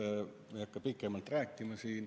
Ma ei hakka sellest siin pikemalt rääkima.